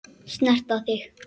Snerta þig.